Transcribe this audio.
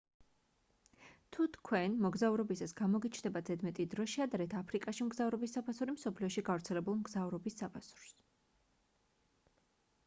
თუ თქვენ მოგზაურობისას გამოგიჩნდებათ ზედმეტი დრო შეადარეთ აფრიკაში მგზავრობის საფასური მსოფლიოში გავრცელებულ მგზავრობის საფასურს